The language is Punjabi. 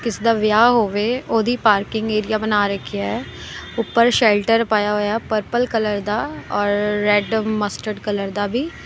ਕਿਸੇ ਦਾ ਵਿਆਹ ਹੋਵੇ ਉਹਦੀ ਪਾਰਕਿੰਗ ਏਰੀਆ ਬਣਾ ਰੱਖਿਆ ਉੱਪਰ ਸ਼ੈਲਟਰ ਪਾਇਆ ਹੋਇਆ ਪਰਪਲ ਕਲਰ ਦਾ ਔਰ ਰੈਡ ਮਸਟਰਡ ਕਲਰ ਦਾ ਵੀ।